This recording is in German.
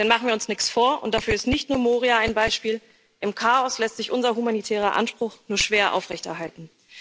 Denn machen wir uns nichts vor, und dafür ist nicht nur Moria ein Beispiel, im Chaos lässt sich unser humanitärer Anspruch nur schwer aufrechterhalten.